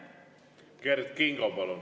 Kert Kingo, palun!